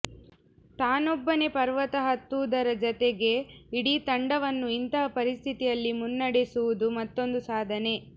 ತಾನೊಬ್ಬನೇ ಪರ್ವತ ಹತ್ತುವುದರ ಜತೆಗೆ ಇಡೀ ತಂಡವನ್ನು ಇಂತಹ ಪರಿಸ್ಥಿತಿಯಲ್ಲಿ ಮುನ್ನಡೆಸುವುದು ಮತ್ತೊಂದು ಸಾಧನೆ